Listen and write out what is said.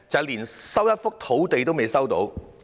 連一幅土地也未能收回。